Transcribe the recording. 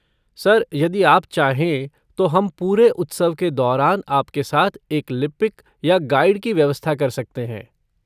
Sir, यदि आप चाहें, तो हम पूरे उत्सव के दौरान आपके साथ एक लिपिक या गाइड की व्यवस्था कर सकते हैं।